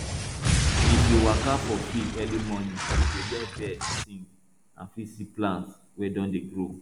if you waka for field early morning you go hear bird sing and fit see plant wey don dey grow